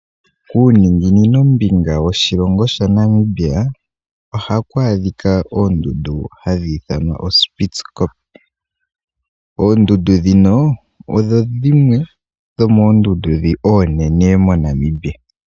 Kuuninginino mbinga woshilonga shaNamibia ohaku adhikwa oondundu hadhi ithanwa oSpitzkoppe, oondundu dhino odho dhimwe dhomoondundu dhi oonene dhaNamibia.